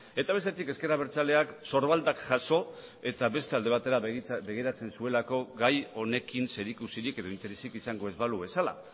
eta bestetik ezker abertzaleak sorbaldak jaso eta beste alde batera begiratzen zuelako gai honekin zerikusirik edo interesik izango ez balu bezala